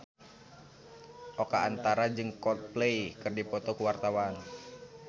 Oka Antara jeung Coldplay keur dipoto ku wartawan